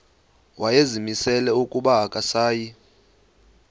wayezimisele ukuba akasayi